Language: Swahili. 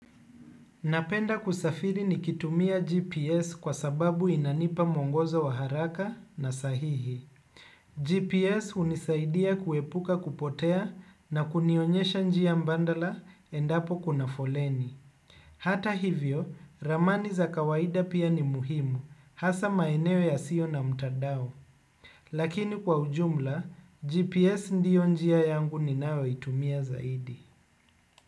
Napenda kusafiri nikitumia GPS kwa sababu inanipa mwongozo wa haraka na sahihi. GPS hunisaidia kuepuka kupotea na kunionyesha njia mbandala endapo kuna foleni. Hata hivyo, ramani za kawaida pia ni muhimu, hasa maeneo yasiyo na mtadao. Lakini kwa ujumla, GPS ndio njia yangu ninayo itumia zaidi.